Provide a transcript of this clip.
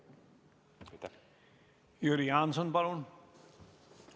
Jüri Jaanson, palun!